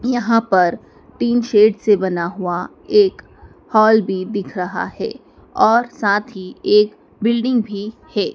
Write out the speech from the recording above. यहां पर tin sheet से बना हुआ एक हॉल भी दिख रहा है और साथ ही एक बिल्डिंग भी है।